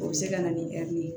O bɛ se ka na ni ye